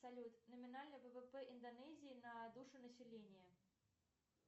салют номинальный ввп индонезии на душу населения